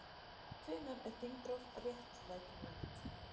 Hvenær er þingrof réttlætanlegt?